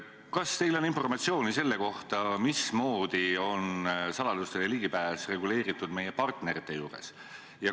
Kas teil on informatsiooni selle kohta, mismoodi on saladustele ligipääs reguleeritud meie partnerite juures?